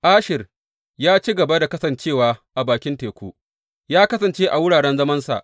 Asher ya ci gaba da kasance a bakin teku ya kasance a wuraren zamansa.